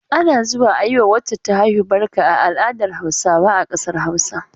Ana zuwa a yi wa wacce ta haihu barka a al'adar Hausawa a ƙasar Hausa.